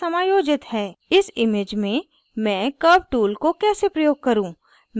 इस image में मैं curves tool को कैसे प्रयोग करूँ